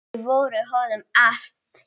Þau voru honum allt.